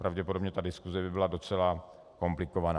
Pravděpodobně ta diskuse by byla docela komplikovaná.